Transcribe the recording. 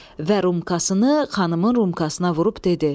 Və rumkasını xanımın rumkasına vurub dedi: